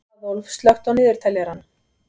Aðólf, slökktu á niðurteljaranum.